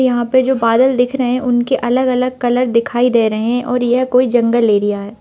यहाँ पे जो बादल दिख रहे हैं उनके अलग-अलग कलर दिखाई दे रहे हैं और यह कोई जंगल एरिया है।